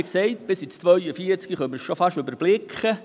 Wie gesagt können wir es bis ins Jahr 2042 fast überblicken.